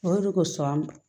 O de kosɔn an